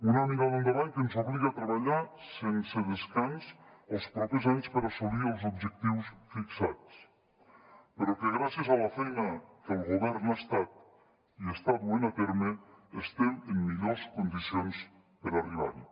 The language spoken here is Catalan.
una mirada endavant que ens obliga a treballar sense descans els propers anys per assolir els objectius fixats però que gràcies a la feina que el govern ha estat i està duent a terme estem en millors condicions per arribar hi